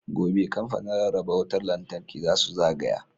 Gobe, Kamfanin Rarraba Wutar Lantarki za su zagaya.